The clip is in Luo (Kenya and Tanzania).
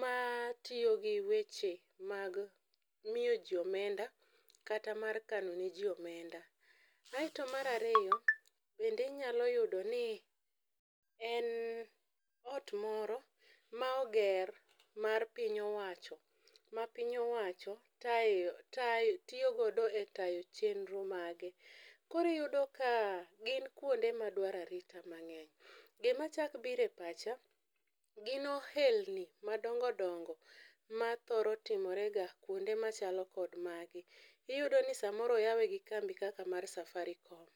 ma tiyo gi weche mag miyo ji omenda kata mar kano ne ji omenda. Aeto marariyo bende inyalo yudo ni en ot moro ma oger mar piny owacho ma piny owacho tae tayo tiyo godo e tayo chenro mage. Koriyudo ka gin kuonde ma dwara arita mang'eny. Gima chak bire pacha, gin ohelni madongo dongo ma thoro timore ga kuonde machalo kod magi. Iyudo ni samoro oyawe gi kambi kaka mar Safaricom.